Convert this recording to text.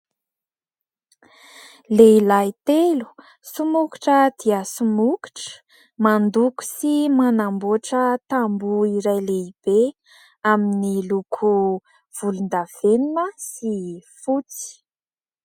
Lehilahy telo somokotra dia somokotra mandoko sy manamboatra tamboho iray lehibe amin'ny loko volondavenona sy fotsy.